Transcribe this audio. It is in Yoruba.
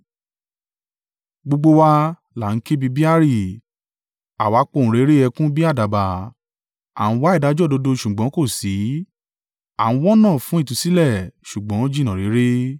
Gbogbo wa là ń ké bí i beari; àwa pohùnréré ẹkún bí àdàbà. A ń wá ìdájọ́ òdodo ṣùgbọ́n kò sí; à ń wọ́nà fún ìtúsílẹ̀, ṣùgbọ́n ó jìnnà réré.